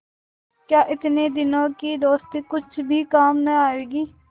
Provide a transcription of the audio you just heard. क्या इतने दिनों की दोस्ती कुछ भी काम न आवेगी